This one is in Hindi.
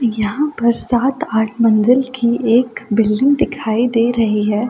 यहाँ पर सात आठ मंजिल की एक बिल्डिंग दिखाई दे रही है।